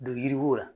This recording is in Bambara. Don yiri ko la